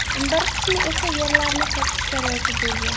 Bir qismi esa yerlarini sotishga rozi bo‘lgan.